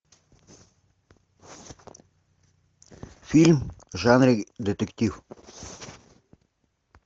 фильм в жанре детектив